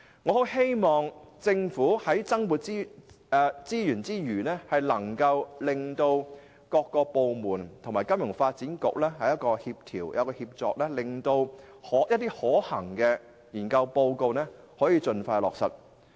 我很希望政府在向金發局增撥資源之餘，亦能協調各部門與金發局合作，令其研究報告所提出的建議得以盡快落實。